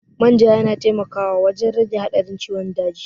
Manja yana taimakawa wajen rage haɗarin ciwon daji.